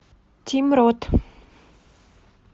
тим рот